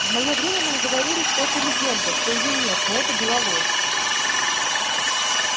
в моё время нам говорили что это легенда что её нет но это была ложь